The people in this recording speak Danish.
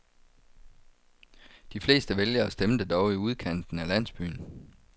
De fleste vælgere stemte dog i udkanten af landsbyen.